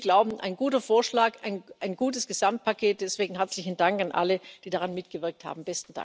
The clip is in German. Wir glauben ein guter Vorschlag, ein gutes Gesamtpaket, deswegen herzlichen Dank an alle, die daran mitgewirkt haben.